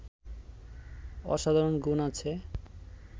অসাধারণ গুণ আছে